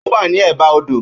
Ó wà ní è bá odò